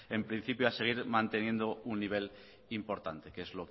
en principio a seguir manteniendo un nivel importante que es